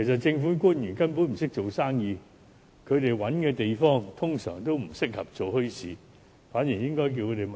政府官員根本不懂做生意，他們找的地方，一般都不適合做墟市。